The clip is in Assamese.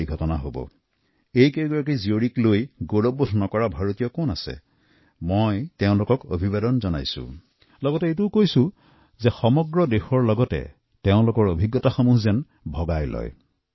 এনে কোনো ভাৰতীয় আছেনে যি এওঁলোকক লৈ গৌৰৱ নকৰে মই এই মহিলা ৬গৰাকীৰ আগ্ৰহক প্ৰণাম জনাইছোঁ আৰু মই তেওঁলোকক কৈছো যে গোটেই দেশৰ সৈতে নিজৰ ভাৱনাক শ্বেয়াৰ কৰক